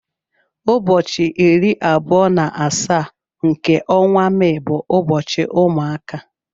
Ụbọchị iri abụọ na asaa nke ọnwa Mee bu ụbọchị ụmụaka.